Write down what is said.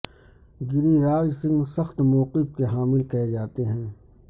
گری راج سنگھ سخت موقف کے حامل کہے جاتے ہیں